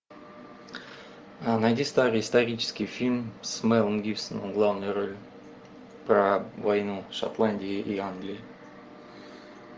найди старый исторический фильм с мелом гибсоном в главной роли про войну шотландии и англии